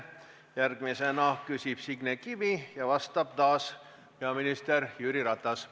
Järgmisena küsib Signe Kivi ja talle vastab taas peaminister Jüri Ratas.